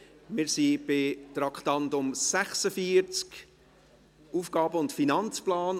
Wir sind beim Traktandum 46, dem AFP.